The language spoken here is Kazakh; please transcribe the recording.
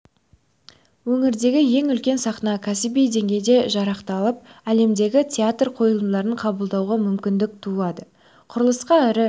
өңірдегі ең үлкен сахна кәсіби деңгейде жарақталып әлемдік театр қойылымдарын қабылдауға мүмкіндік туады құрылысқа ірі